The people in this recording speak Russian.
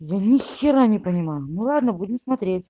я нехера не понимаю ну ладно будем смотреть